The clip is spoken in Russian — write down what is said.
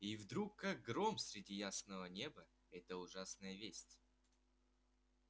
и вдруг как гром среди ясного неба эта ужасная весть